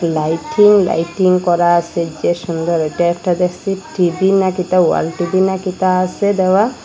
Lighting lighting করা আসে যে সুন্দর ওইটা একটা দেখসি টি_ভি নাকি তা ওয়াল টি_ভি নাকি তা আসে দেওয়া।